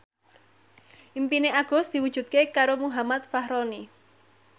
impine Agus diwujudke karo Muhammad Fachroni